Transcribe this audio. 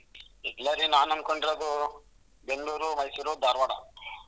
ಇಲ್ಲಾ ರೀ ನಾನ್ ಅನ್ಕೊಂಡಿರೋದು ಬೆಂಗಳೂರು ಮೈಸೂರ್ ಧಾರಾವಾಡ .